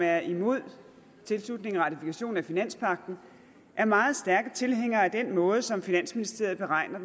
er imod tilslutning og ratifikation af finanspagten er meget stærke tilhængere af den måde som finansministeriet beregner